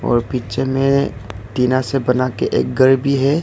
और पिक्चर में टीना से बनाके एक घर भी है।